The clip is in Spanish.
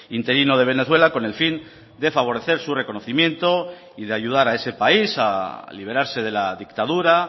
interino de venezuela con el fin de favorecer su reconocimiento y de ayudar a ese país a liberarse de la dictadura